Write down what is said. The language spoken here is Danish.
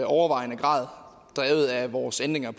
overvejende grad drevet af vores ændringer